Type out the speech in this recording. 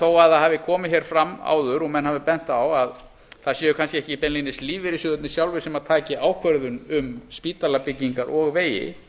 þó að það hafi komið hér fram áður og menn hafi bent á að það séu kannski ekki beinlínis lífeyrissjóðirnir sjálfir sem taki ákvörðun um spítalabyggingar og vegi